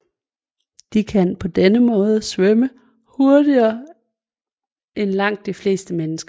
De kan på denne måde svømme hurtigere end langt de fleste mennesker